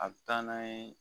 A be taa n'a ye